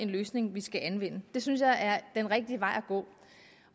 løsning vi skal anvende det synes jeg er den rigtige vej at gå